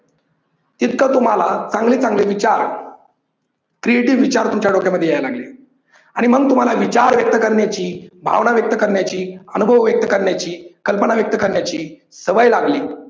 तितकं तुम्हाला चांगले चांगले विचार creative विचार तुमच्या डोक्या मध्ये यायला लागले आणि मग तुम्हाला विचार व्यक्त करण्याची, भावना व्यक्त करण्याची, अनुभव व्यक्त करण्याची, कल्पना व्यक्त करण्याची सवय लागली.